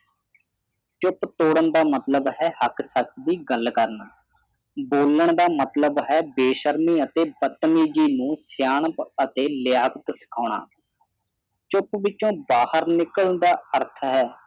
ਚੁੱਪ ਤੋੜਨ ਦਾ ਮਤਲਬ ਹੈ ਹੱਕ ਸੱਚ ਦੀ ਗੱਲ ਕਰਨਾ ਬੋਲਣ ਦਾ ਮਤਲਬ ਹੈ ਬੇਸ਼ਰਮੀ ਅਤੇ ਬਤਮੀਜੀ ਨੂੰ ਸਿਆਣਪ ਅਤੇ ਲਿਆਕਤ ਸਿਖਾਉਣਾ ਚੁੱਪ ਵਿਚੋਂ ਬਾਹਰ ਨਿਕਲਣ ਦਾ ਅਰਥ ਹੈ